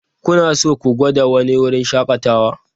Kuna so ku gwada wani wurin shakatawa?